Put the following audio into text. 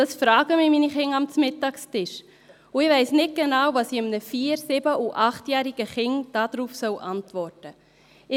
», das fragen mich meine Kinder am Mittagstisch, und ich weiss nicht genau, was ich einem 4-, 7- oder 8-jährigen Kind darauf antworten soll.